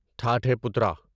ٹھاٹھے پترا